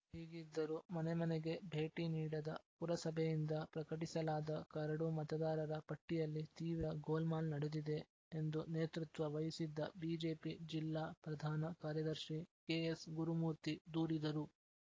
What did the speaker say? ಹೀಗಿದ್ದರೂ ಮನೆಮನೆಗೆ ಭೇಟಿ ನೀಡದ ಪುರಸಭೆಯಿಂದ ಪ್ರಕಟಿಸಲಾದ ಕರಡು ಮತದಾರರ ಪಟ್ಟಿಯಲ್ಲಿ ತೀವ್ರ ಗೋಲ್‌ಮಾಲ್‌ ನಡೆದಿದೆ ಎಂದು ನೇತೃತ್ವ ವಹಿಸಿದ್ದ ಬಿಜೆಪಿ ಜಿಲ್ಲಾ ಪ್ರಧಾನ ಕಾರ್ಯದರ್ಶಿ ಕೆಎಸ್‌ಗುರುಮೂರ್ತಿ ದೂರಿದರು